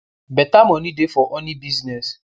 beta moni dey for honey business